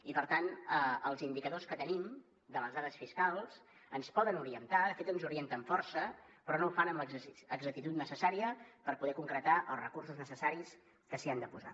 i per tant els indicadors que tenim de les dades fiscals ens poden orientar de fet ens orienten força però no ho fan amb l’exactitud necessària per poder concretar els recursos necessaris que s’hi han de posar